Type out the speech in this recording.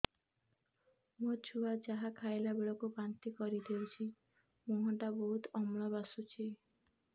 ମୋ ଛୁଆ ଯାହା ଖାଇଲା ବେଳକୁ ବାନ୍ତି କରିଦଉଛି ମୁହଁ ଟା ବହୁତ ଅମ୍ଳ ବାସୁଛି